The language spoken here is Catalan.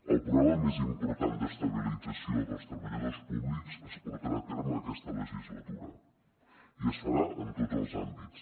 el programa més important d’estabilització dels treballadors públics es portarà a terme aquesta legislatura i es farà en tots els àmbits